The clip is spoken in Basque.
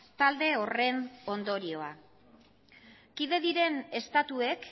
talde horren ondorioa kide diren estatuek